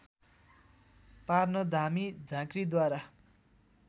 पार्न धामी झाँक्रिद्वारा